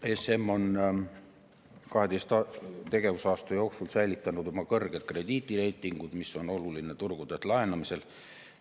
ESM on 12 tegevusaasta jooksul säilitanud oma kõrged krediidireitingud, mis on oluline turgudelt laenamisel.